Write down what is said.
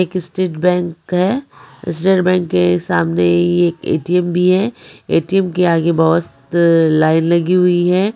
एक state bank है state bank के सामने ही एक ए_टी_एम भी है ए_टी_एम के आगे बहोत लाइन लगी हुई है।